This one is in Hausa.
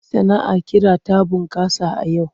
Sana'ar ƙira ta bunƙasa a yau.